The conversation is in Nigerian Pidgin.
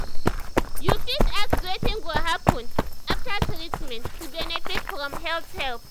you fit ask wetin go happen after treatment to benefit from health help.